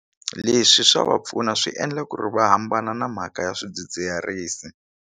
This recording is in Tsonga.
Leswi swa va pfuna swi endla ku ri va hambana na mhaka ya swidzidziharisi.